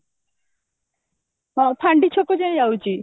ହଁ ଫାଣ୍ଡି ଛକ ଯାଏଁ ଯାଉଛି